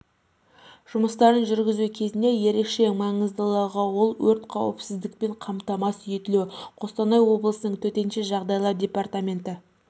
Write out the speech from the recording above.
жұмыстарын жүргізу кезінде ерекше маңыздылығы ол өрт қауіпсіздікпен қамтамасыз етілуі қостанай облысының төтенше жағдайлар департаменті